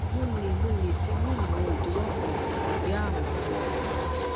mo le mo le ti ni awon idiwo kan tabi arun ti okan